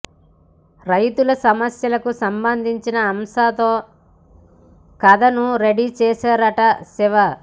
రైతుల సమస్యలకు సంబంధించిన అంశంతో కథను రెడీ చేశారట శివ